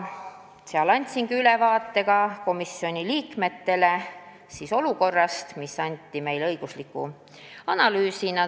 Seal andsingi komisjoni liikmetele ülevaate olukorrast, mis anti meile õigusliku analüüsina.